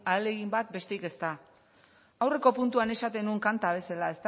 ahalegin bat besterik ez da aurreko puntuan esaten nuen kanta bezala